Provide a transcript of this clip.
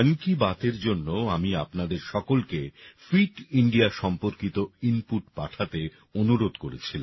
এই মনকি বাতএর জন্য আমি আপনাদের সকলকে ফিট ইন্ডিয়া সম্পর্কিত ইনপুট পাঠাতে অনুরোধ করেছিলাম